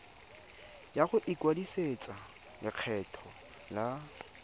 ya go ikwadisetsa lekgetho la